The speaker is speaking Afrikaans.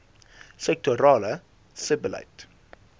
sektorale sebbeleid